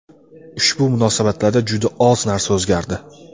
ushbu munosabatlarda juda oz narsa o‘zgardi.